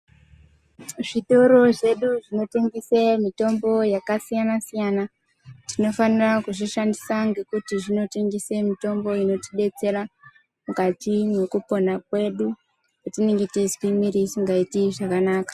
Zvitoro zvedu zvinotengese mitombo yakasiyana siyana tinofanira kuzvishandisa ngekuti zvinotengese mitombo inotidetsera mukati mwekupona kwedu petinenge teizwe mwiri isingaiti zvakanaka.